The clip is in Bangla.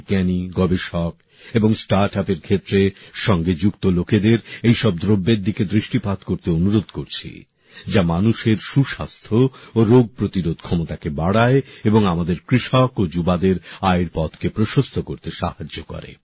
আমি বিজ্ঞানী গবেষক এবং স্টার্ট আপএর ক্ষেত্রে সঙ্গে যুক্ত লোকেদের এইসব দ্রব্যের দিকে দৃষ্টিপাত করতে অনুরোধ করছি যা মানুষের সুস্বাস্থ্য ও রোগ প্রতিরোধ ক্ষমতাকে বাড়ায় এবং আমাদের কৃষক ও যুবসম্প্রদায়ের আয়ের পথকে প্রশস্ত করতে সাহায্য করে